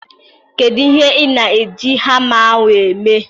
Kedu ihe ị na-eji hama ahụ eme?